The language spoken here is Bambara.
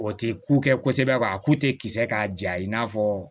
O tɛ ku kɛ kosɛbɛ k'a ku tɛ kisɛ k'a ja i n'a fɔ